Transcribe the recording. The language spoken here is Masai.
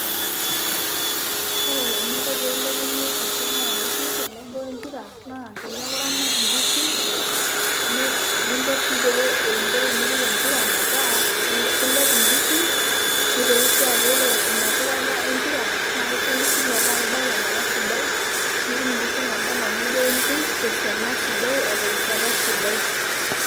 Ore eninko pe ilepunye esiana onkishu tenebo empira, naa teneeku iramat inkishu, ninko si pee einko tenipik empira metaa, kilepu nkishu nitoki si aku ore inapikata empira na kiko nkishu metaa kebao tenkata sidai, nitum inkishu naba enaa niyieu duoke nitum tesiana sidai o terishata sidai.